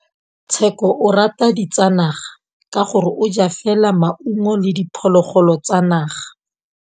Tshekô o rata ditsanaga ka gore o ja fela maungo le diphologolo tsa naga.